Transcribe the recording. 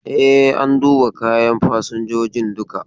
E, an duba kayan fasinjojin duka.